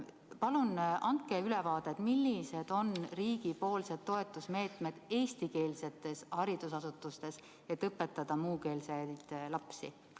Palun andke ülevaade, millised on riigipoolsed toetusmeetmed eestikeelsetes haridusasutustes, et õpetada muukeelseid lapsi!